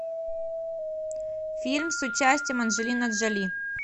фильм с участием анджелины джоли